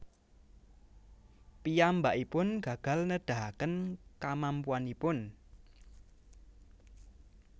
Piyambakipun gagal nedahaken kamampuanipun